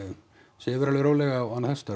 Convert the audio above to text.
sefur alveg rólega og annað þess háttar